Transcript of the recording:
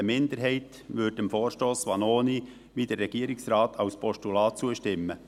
Eine Minderheit würde dem Vorstoss Vanoni , wie der Regierungsrat, als Postulat zustimmen.